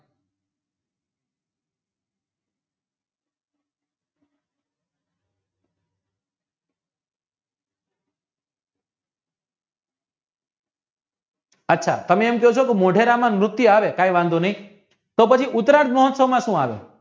અચ્છા તમે એમ કહો છો કે મોઢેરાના નૃત્ય આવે કે વાંધો નય તો પછી ઉતરાગ મહોત્સવ માં સુ આવે